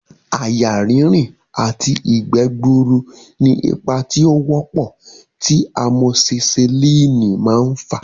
Àyà rínrìn àti ìgbẹ́ gbuuru ni ipa tí ó wọ́pọ̀ tí amosisilínì máa ń fà